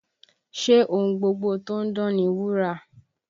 Ṣé ohun gbogbo tó ń dán ni wúrà?